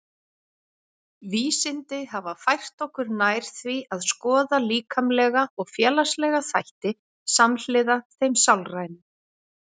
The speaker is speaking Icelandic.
Vísindi hafa fært okkur nær því að skoða líkamlega og félagslega þætti samhliða þeim sálrænu.